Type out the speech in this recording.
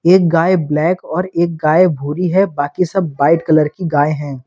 एक गाय ब्लैक और एक गाय भूरी है बाकी सब बाइट कलर की गाय हैं।